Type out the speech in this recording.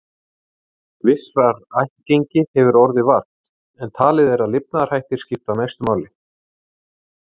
Vissrar ættgengi hefur orðið vart, en talið er að lifnaðarhættir skipti mestu máli.